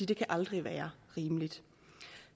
det kan aldrig være rimeligt